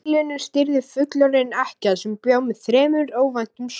Býlinu stýrði fullorðin ekkja sem bjó með þremur ókvæntum sonum.